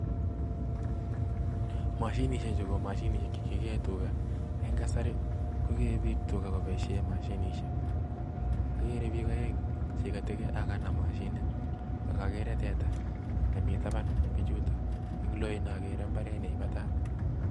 Mashinisiekchu ko mashinisiek che kikeen tugaa, eng kasarii kokee biik twaa koboishien mashinisiek, agere biik oeng chekanam mashinit ak ogeere teta nemitabaan bichutok, En loindo agere mbaret neibatat